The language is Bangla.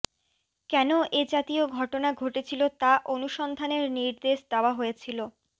কেন এ জাতীয় ঘটনা ঘটেছিল তা অনুসন্ধানের নির্দেশ দেওয়া হয়েছিল